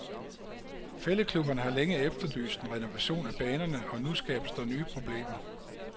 Fælledklubberne har længe efterlyst en renovation af banerne, og nu skabes der nye problemer.